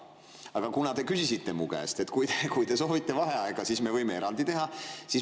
Aga te ütlesite mulle, et kui ma soovin vaheaega, siis võib erandi teha.